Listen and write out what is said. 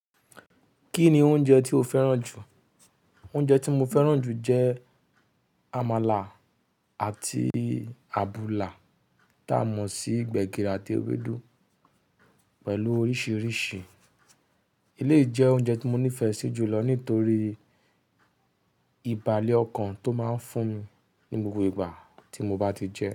Kí ni oúnjẹ tí o fẹ́ràn jù? Oúnjẹ tí mo fẹ́ràn jù jẹ́ àmàlà àti àbùlà ta mọ sí gbẹ̀gìrì àti ewédú pẹ̀lú oríṣiríṣi. Elé jẹ́ oúnjẹ tí mo nífẹ̀ẹ́ sí jù lọ nítorí ìbàlé ọkàn tó máa ń fún mi ní gbogbo ìgbà tí mo bá ti jẹ ẹ́.